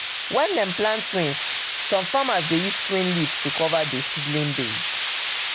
when dem dey plant twins some farmers dey use twin leave to cover the seedling base.